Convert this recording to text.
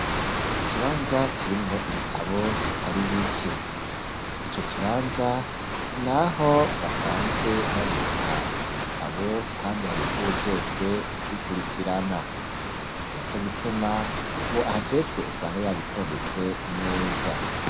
Ikibanza kirimwo ibitabo bitari bike, ico kibanza, ni aho basanzwe babika ivyo bitabo, kandi hari n'uwujejwe kubikurikirana, ni na co gituma, uwo ahajejwe usanga yabitondetse neza.